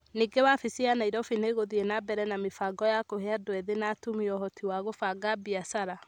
Ningĩ wabici ya Nairobi nĩ ĩgũthiĩ na mbere na mĩbango ya kũhe andũ ethĩ na atumia ũhoti wa kũbanga biacara.